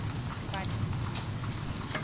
badiri